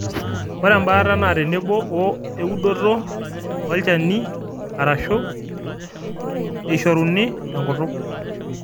ore embaata na tenebo oo eudoto orchani arashu eishoruni tenkutuk